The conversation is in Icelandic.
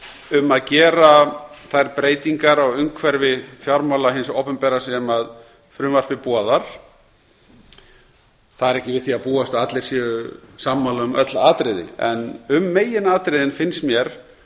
um að gera þær breytingar á umhverfi fjármála hins opinbera sem frumvarpið boðar það er ekki við því að búast að allir séu sammála um öll atriði en um meginatriðin finnst mér